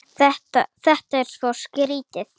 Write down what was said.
Þetta er svo skrýtið.